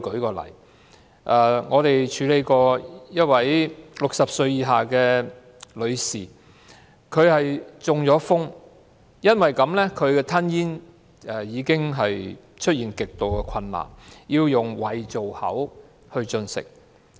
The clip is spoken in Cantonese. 舉例而言，我們曾經處理一位60歲以下女士的個案，她中風後吞咽極度困難，需要使用胃造口進食。